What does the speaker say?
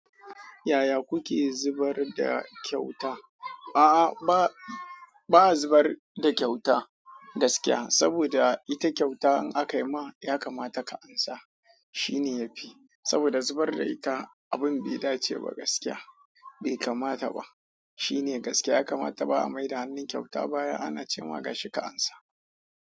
Yaya kuke zubar da kyauta? A'a, ba zubar da kyauta gaskiya saboda ita kyauta in aka yi ma ya kamata ka ansa. Shine yafi saboda zubar da ita abin baida ceba gaskiya bai kamata ba. Shine gaskiya ya kamata ba a maida hannun kyauta baya ana ce ma ga shika ansa.